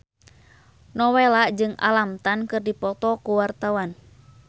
Nowela jeung Alam Tam keur dipoto ku wartawan